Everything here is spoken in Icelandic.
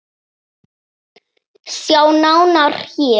Sjá nánar HÉR!